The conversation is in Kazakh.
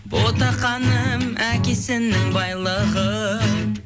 ботақаным әкесінің байлығы